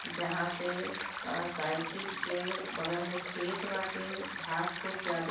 जहाँ पे साइकिल के बगल मे खेत बाटे। घास खूब ज्यादे --